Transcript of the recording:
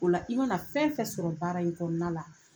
O la i mana fɛn o fɛn sɔrɔ baara in kɔnɔna la.